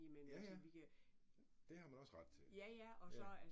Ja ja, det har man også ret til, ja